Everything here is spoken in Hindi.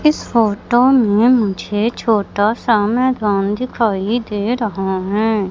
इस फोटो में मुझे छोटा सा मैदान दिखाई दे रहा है।